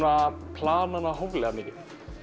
plana hana hóflega mikið